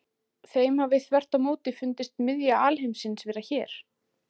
Þeim hafi þvert á móti fundist miðja alheimsins vera hér.